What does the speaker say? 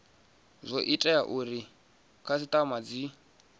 zwo tea uri khasitama dzi